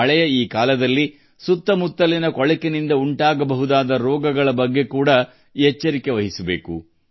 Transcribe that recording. ಮಳೆಗಾಲದಲ್ಲಿ ಸುತ್ತಮುತ್ತಲಿನ ಕೊಳಚೆಯಿಂದ ಉಂಟಾಗುವ ರೋಗಗಳ ಬಗ್ಗೆಯೂ ಎಚ್ಚರ ವಹಿಸಬೇಕು